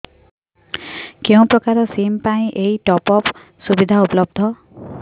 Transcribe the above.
କେଉଁ ପ୍ରକାର ସିମ୍ ପାଇଁ ଏଇ ଟପ୍ଅପ୍ ସୁବିଧା ଉପଲବ୍ଧ